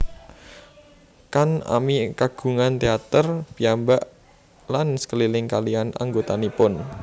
Kan ami kagungan teater piyambak lan keliling kaliyan anggotanipun